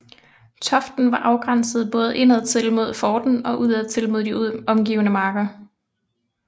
Toften var afgrænset både indadtil mod forten og udadtil mod de omgivende marker